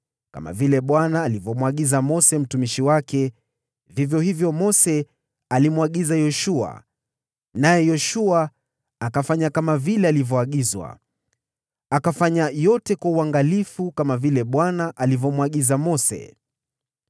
Kama vile Bwana alivyomwagiza Mose mtumishi wake, vivyo hivyo Mose alimwagiza Yoshua, naye Yoshua akafanya kama vivyo, hakukosa kufanya lolote katika yale yote Bwana aliyomwagiza Mose.